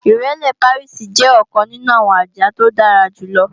Ìrẹ́lé Pàríìsì jẹ́ ọ̀kan nínú àwọn àjà tí ó dára jù lọ